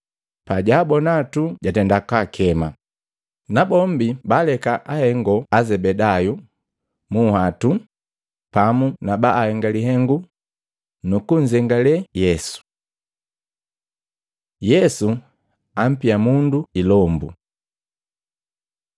Pajaabona tu jatenda kakema, nabombi baaleka ahengo Azebedayu mu nhwatu pamu na babaahenge lihengu, nu kunzengalee Yesu. Yesu ampia mundu ilombu Luka 4:31-37